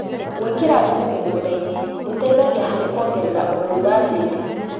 Gwĩkĩra thumu mũgũnda-inĩ gũteithgia harĩ kuongerera ũnoru wa tĩri